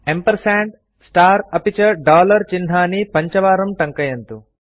ampersand star अपि च dollar चिह्नानि पञ्चवारं ट्ङ्कयन्तु